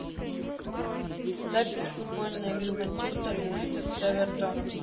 запись футбольной игры манчестер юнайтед с эвертоном